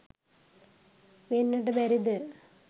වෙන්නට බැරිද?